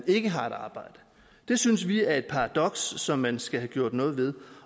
ikke har et arbejde det synes vi er et paradoks som man skal have gjort noget ved